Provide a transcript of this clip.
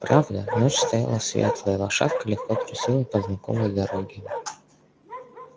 правда ночь стояла светлая лошадка легко трусила по знакомой дороге